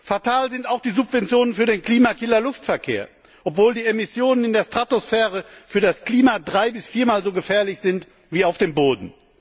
Fatal sind auch die Subventionen für den Klimakiller Luftverkehr, obwohl die Emissionen in der Stratosphäre für das Klima drei bis viermal so gefährlich sind wie auf dem Boden.